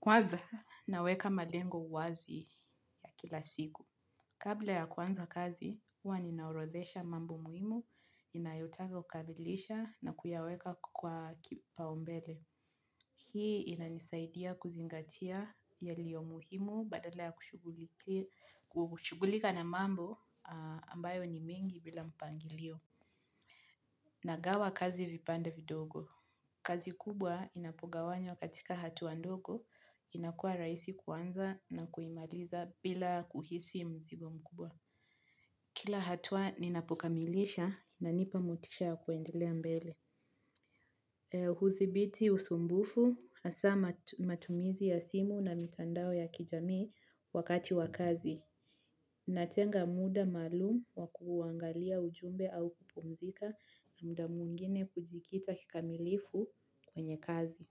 Kwaza naweka malengo wazi ya kila siku. Kabla ya kuanza kazi, huwa ninaorodhesha mambo muhimu inayotaka ukabilisha na kuyaweka kwa kipaumbele. Hii inanisaidia kuzingatia yaliyo muhimu badala ya kushugulika na mambo ambayo ni mingi bila mpangilio. Nagawa kazi vipande vidogo. Kazi kubwa inapogawanywa katika hatua ndogo inakua raisi kuanza na kuimaliza bila kuhisi mzigo mkubwa. Kila hatua ninapokamilisha inanipamotisha ya kuendelea mbele. Huthibiti usumbufu hasa matumizi ya simu na mitandao ya kijamii wakati wakazi. Natenga muda maalum wa kuangalia ujumbe au kupumzika na muda mwingine kujikita kikamilifu kwenye kazi.